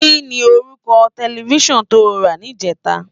Kini órúkò tèlèfisán tó rá nijètá?